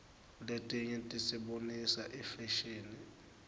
letinye tisibonisa ifashini